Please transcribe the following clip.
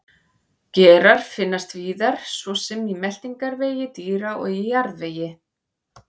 Gerar finnast víðar svo sem í meltingarvegi dýra og í jarðvegi.